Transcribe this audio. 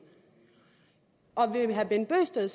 og vil herre bent bøgsted